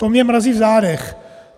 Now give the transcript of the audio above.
To mě mrazí v zádech.